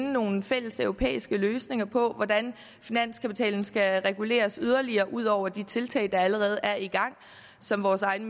nogle fælleseuropæiske løsninger på hvordan finanskapitalen skal reguleres ud over de tiltag der allerede er i gang og som vores egen